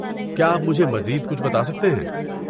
کیا آپ مجھے مزید کچھ بتا سکتے ہیں؟